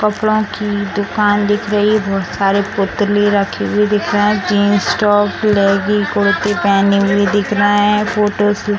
कपड़ों की दुकान दिख रही है बहुत सारे पुतले रखे हुए दिख रहें हैं जीन्स टॉप लेगी कुर्ती पहने हुई दिख रहें हैं फोटोज --